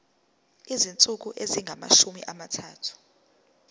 izinsuku ezingamashumi amathathu